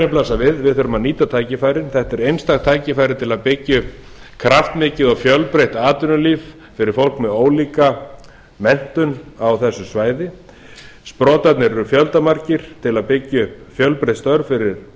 blasa við við þurfum að nýta tækifærin þetta er einstakt tækifæri til að byggja upp kraftmikið og fjölbreytt atvinnulíf fyrir fólk með ólíka menntun á þessu svæði sprotarnir eru fjöldamargir til að byggja upp fjölbreytt störf fyrir